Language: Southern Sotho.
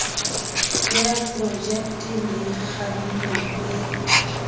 ya projekte le kananelong e